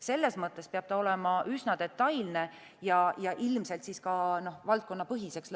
Selles mõttes peab see olema üsna detailne ja ilmselt lõpuks minema ka valdkonnapõhiseks.